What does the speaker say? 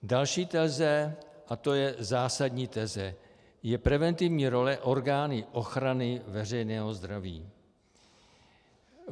Další teze, a to je zásadní teze, je preventivní role orgánů ochrany veřejného zdraví.